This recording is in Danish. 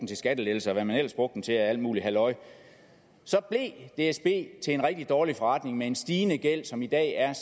til skattelettelser og hvad man ellers brugte dem til af alt muligt halløj blev dsb til en rigtig dårlig forretning med en stigende gæld som i dag er